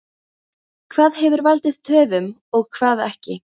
Hvað hefur valdið töfum og hvað ekki?